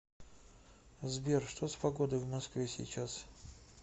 сбер что с погодой в москве сейчас